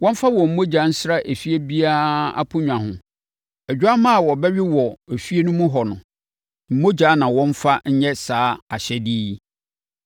Wɔmfa wɔn mogya nsra efie biara aponnwa ho. Odwammaa a wɔbɛwe no wɔ fie hɔ no mogya na wɔmfa nyɛ saa ahyɛdeɛ yi.